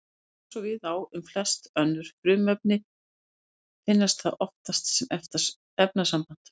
Eins og við á um flest önnur frumefni finnst það oftast sem efnasamband.